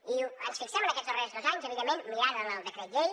i ens fixem en aquests darrers dos anys evidentment mirant el decret llei